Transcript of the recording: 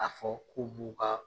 A fɔ ko b'u ka